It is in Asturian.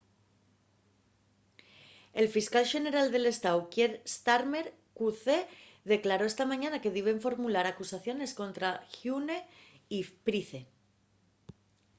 el fiscal xeneral del estáu kier starmer qc declaró esta mañana que diben formular acusación escontra huhne y pryce